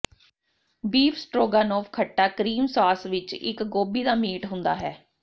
beef stroganoff ਖੱਟਾ cream sauce ਵਿੱਚ ਇੱਕ ਗੋਭੀ ਦਾ ਮੀਟ ਹੁੰਦਾ ਹੈ